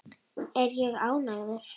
Er ég ánægður?